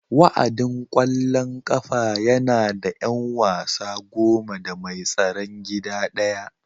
Wa'adin ƙwallon ƙafa yana da 'yan wasa goma da mai tsaron gida ɗaya